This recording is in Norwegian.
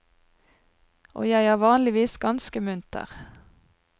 Og jeg er vanligvis ganske munter.